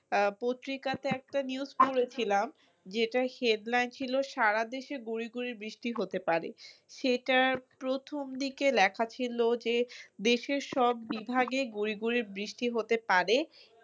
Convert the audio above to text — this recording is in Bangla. আহ পত্রিকাতে একটা news শুনেছিলাম যেটার headline ছিল সারাদেশে গুড়ি গুড়ি বৃষ্টি হতে পারে সেটার প্রথম দিকে লেখা ছিল যে দেশের সব বিভাগে গুড়ি গুড়ি বৃষ্টি হতে পারে।